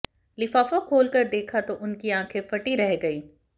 लिफाफा खोलकर देखा तो उनकी आंखे फटी रह गई